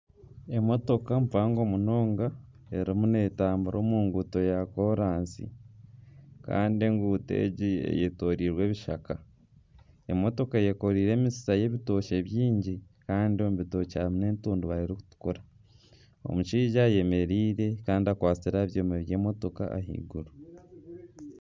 Emotoka mpango munonga erimu neetambura omu nguuto ya koraasi kandi eguuto egi eyetooreirwe ebishaka, emotoka eyekoreire emitsitsa y'ebitookye byingi kandi omu bitookye harimu n'entundubare erikutukura, omushaija ayemereire kandi akwatsire aha byoma by'emotoka ahaiguru